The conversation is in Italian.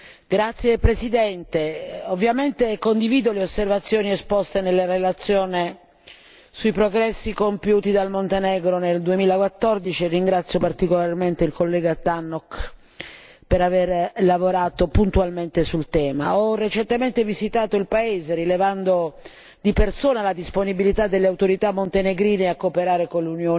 Signor Presidente, onorevoli colleghi, ovviamente condivido le osservazioni esposte nella relazione sui progressi compiuti dal Montenegro nel 2014 e ringrazio particolarmente il collega Tannock per avere lavorato puntualmente sul tema. Ho recentemente visitato il paese, rilevando di persona la disponibilità delle autorità montenegrine a cooperare con l'Unione